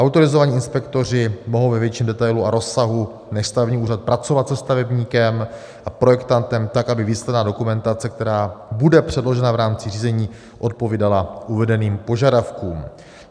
Autorizovaní inspektoři mohou ve větším detailu a rozsahu než stavební úřad pracovat se stavebníkem a projektantem tak, aby výsledná dokumentace, která bude předložena v rámci řízení, odpovídala uvedeným požadavkům.